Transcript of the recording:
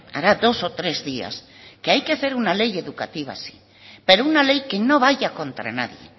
hará dos o tres días que hay que hacer una ley educativa sí pero una ley que no vaya contra nadie